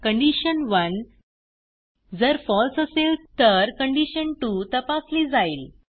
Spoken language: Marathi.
कंडिशन1 जर फळसे असेल तर कंडिशन2 तपासली जाईल